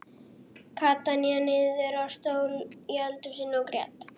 Kata hné niður á stól í eldhúsinu og grét.